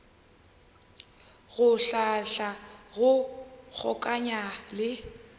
go hlahla go kgokaganya le